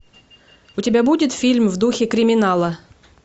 у тебя будет фильм в духе криминала